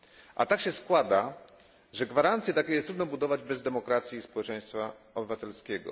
A tak się składa, że gwarancje takie trudno jest budować bez demokracji i społeczeństwa obywatelskiego.